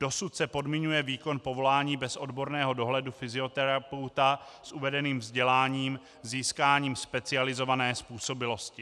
Dosud se podmiňuje výkon povolání bez odborného dohledu fyzioterapeuta s uvedeným vzděláním získáním specializované způsobilosti.